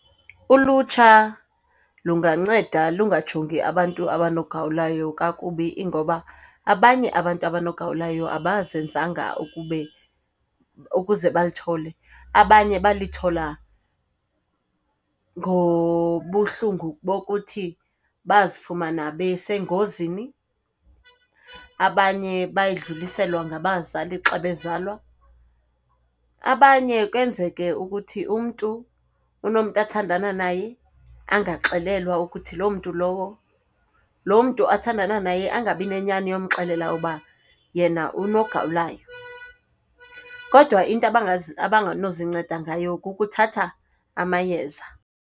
Ulutsha lunganceda lungajongi abantu abanogawulayo kakubi ingoba abanye abantu abanogawulayo abazenzanga ukube ukuze balithole. Abanye balithola ngobuhlungu bokuthi bazifumana besengozini, abanye bayidluliselwa ngabazali xa bezalwa, abanye kwenzeke ukuthi umntu unomntu athandana naye angaxelelwa ukuthi loo mntu lowo, loo mntu athandana naye angabi nenyani yomxelela uba yena unogawulayo. Kodwa into abangenozinceda ngayo kukuthatha amayeza.